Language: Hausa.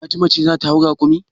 Fatima ce za ta hau rakumi.